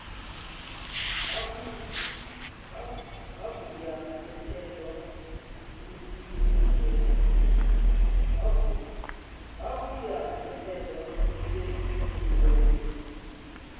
hafhu ya nekedza furemiweke ya